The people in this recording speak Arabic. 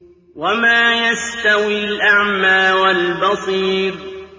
وَمَا يَسْتَوِي الْأَعْمَىٰ وَالْبَصِيرُ